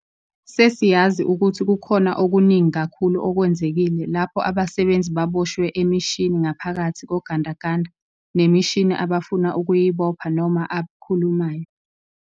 Sesiyazi ukuthi kukhona okuningi kakhulu okwenzekile lapho abasebenzi baboshwe emishini ngaphakathi kogandaganda nemishini abafuna ukuyibopha noma abkhumulayo.